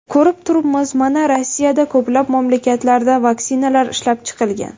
Ko‘rib turibmiz, mana Rossiyada, ko‘plab mamlakatlarda vaksinalar ishlab chiqilgan.